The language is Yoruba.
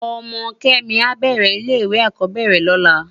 Òmò Kemi ábèrè ilè iwé ákòbèrè lòlá